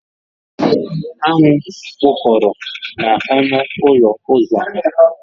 Aṅụ kpụkọrọ n'ọnụ ụzọ ụlọ ha